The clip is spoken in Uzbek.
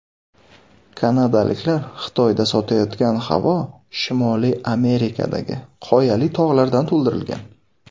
Kanadaliklar Xitoyda sotayotgan havo Shimoliy Amerikadagi Qoyali tog‘lardan to‘ldirilgan.